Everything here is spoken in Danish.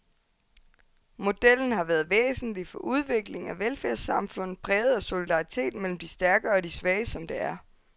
Modellen har været væsentlig for udviklingen af velfærdssamfundet, præget af solidaritet mellem de stærke og de svage, som det er.